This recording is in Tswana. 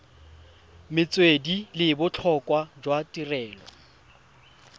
metswedi le botlhokwa jwa tirelo